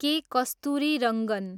के. कस्तुरीरङ्गन